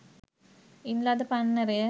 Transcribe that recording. ඉන් ලද පන්නරය